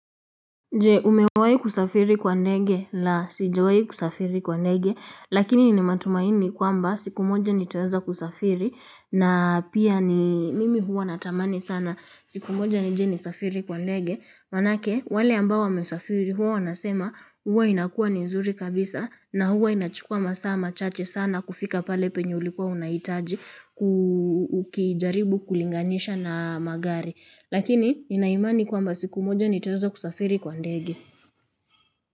Je umewai kusafiri kwa nege la sijawai kusafiri kwa nege lakini nina matumaini kwamba siku moja nitaweza kusafiri na pia ni mimi huwa natamani sana siku moja nije nisafiri kwa nege manake wale ambao wamesafiri huwa wanasema huwa inakua ni nzuri kabisa na huwa inachukua masaa machache sana kufika pale penye ulikuwa unaitaji kujaribu kulinganisha na magari. Lakini nina imani kwamba siku moja nitaweza kusafiri kwa ndege.